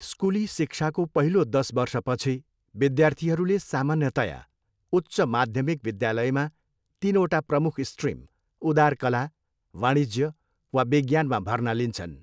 स्कुली शिक्षाको पहिलो दस वर्षपछि, विद्यार्थीहरूले सामान्यतया उच्च माध्यमिक विद्यालयमा तिनवटा प्रमुख स्ट्रिम, उदार कला, वाणिज्य वा विज्ञानमा भर्ना लिन्छन्।